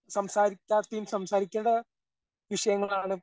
സംസാരിക്കാത്തിൻ സംസാരിക്കേണ്ട വിഷയങ്ങളാണ്.